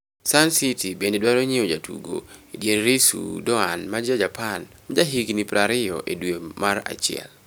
(Sun) City bende dwaro nyiewo jatugo edier Ritsu Doan ma ja Japan ma jahigni 20, e dwe mar achiel.